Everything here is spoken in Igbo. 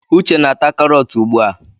Uche na ata karọt ugbu a.